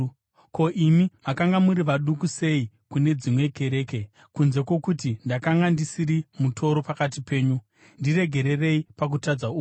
Ko, imi makanga muri vaduku sei kune dzimwe kereke, kunze kwokuti ndakanga ndisiri mutoro pakati penyu? Ndiregererei pakutadza uku!